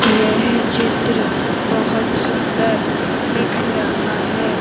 यह चित्र बहोत सुंदर दिख रहा है।